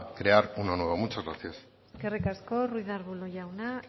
crear uno nuevo muchas gracias eskerrik asko ruiz de arbulo jauna